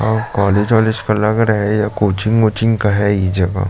और कॉलेज वॉलेज का लग रहा है ये कोचिंग ओचिंग का हैं ये जगह--